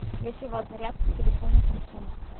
есть ли у вас зарядка к телефону самсунг